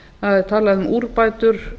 það er talað um úrbætur